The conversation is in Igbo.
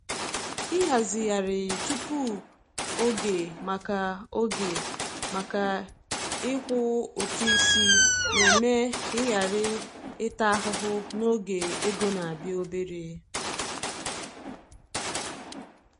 Ịhazigharị tupu oge maka oge maka ịkwụ ụtụ isi na-eme ka ị ghara ịta ahụhụ n’oge ego na-abịa obere.